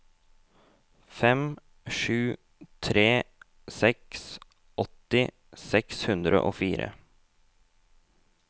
fem sju tre seks åtti seks hundre og fire